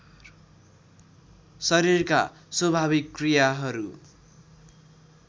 शरीरका स्वाभाविक क्रियाहरू